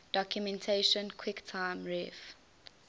documentation quicktime ref